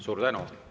Suur tänu!